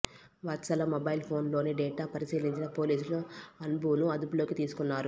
వత్సల mobile phone లోని data పరిశీలించిన పోలీసులు అన్బును అదుపులోకి తీసుకున్నారు